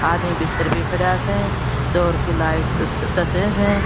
आदमी भीतर भी खड़ा स जोर की लाइट चस स।